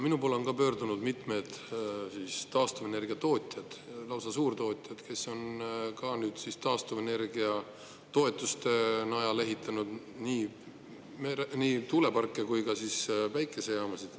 Minu poole on ka pöördunud mitmed taastuvenergia tootjad, lausa suurtootjad, kes on taastuvenergia toetuste najal ehitanud nii tuuleparke kui ka päikesejaamasid.